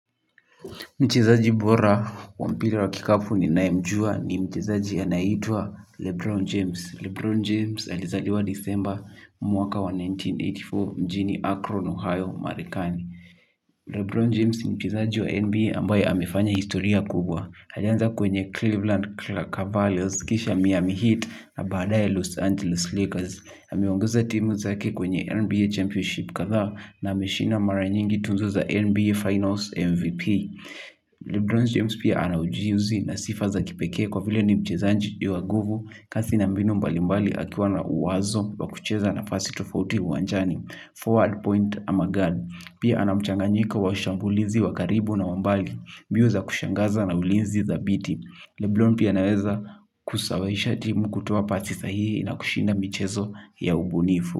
Mchezaji bora wa mpira wa kikapu ninayemjua ni mchezaji anayeitwa Lebron James. Lebron James alizaliwa Disemba mwaka wa elfu moja na mia tisa na themanini na nne mjini Akron, Ohio, Marekani. Lebron James ni mchezaji wa NBA ambaye amefanya historia kubwa. Alianza kwenye Cleveland Cavaliers, kisha Miami Heat na badaaye Los Angeles Lakers. Amongeza timu zake kwenye NBA Championship kadhaa na ameshinda mara nyingi tuzo za NBA Finals MVP. Lebron James pia ana ujuzi na sifa za kipekee kwa vile ni mchezaji wa nguvu kasi na mbinu mbali mbali akiwa na wazo wa kucheza nafasi tofauti uwanjani forward point ama guard. Pia ana mchanganyiko wa ushambulizi wa karibu na wa mbali mbio za kushangaza na ulinzi thabiti. Lebron pia anaweza kusababisha timu kutoa pasi sahihi na kushinda michezo ya ubunifu.